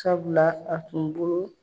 Sabula a tun bolo